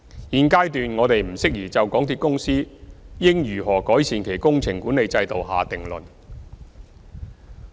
現階段我們不適宜就港鐵公司應如何改善其工程管理制度下定論。